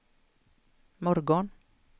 morgon